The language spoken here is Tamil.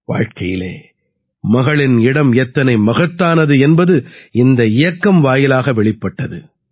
வாழ்க்கையில் மகளின் இடம் எத்தனை மகத்தானது என்பது இந்த இயக்கம் வாயிலாக வெளிப்பட்டது